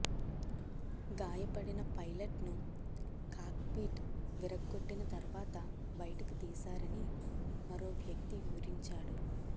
గాయపడిన పైలట్ను కాక్పిట్ విరగ్గొట్టిన తర్వాత బయటకు తీశారని మరో వ్యక్తి వివరించాడు